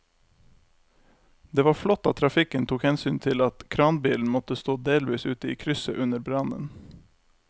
Det var flott at trafikken tok hensyn til at kranbilen måtte stå delvis ute i krysset under brannen.